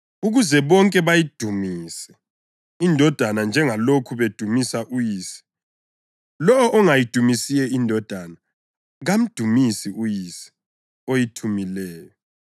ukuze bonke bayidumise iNdodana njengalokhu bedumisa uYise. Lowo ongayidumisiyo iNdodana kamdumisi uYise oyithumileyo.